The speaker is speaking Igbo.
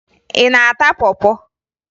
Ị na-ata pọ pọ?